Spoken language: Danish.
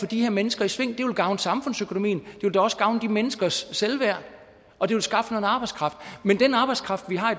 de her mennesker i sving det vil gavne samfundsøkonomien det vil da også gavne de menneskers selvværd og det vil skaffe arbejdskraft men den arbejdskraft vi har